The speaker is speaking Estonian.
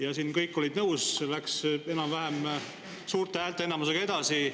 Ja siin olid kõik sellega nõus, see läks suure häälteenamusega siit edasi.